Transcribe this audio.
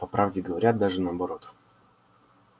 по правде говоря даже наоборот